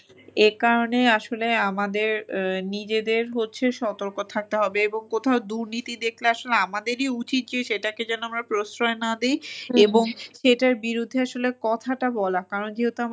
এ কারণে আসলে আমাদের আহ নিজেদের হচ্ছে সতর্ক থাকতে হবে এবং কোথাও দুর্নীতি দেখলে আসলে আমাদেরই উচিত যে সেটাকে যেন আমরা প্রশ্রয় না দেই এবং সেটার বিরুদ্ধে আসলে কথাটা বলা। কারণ যেহেতু,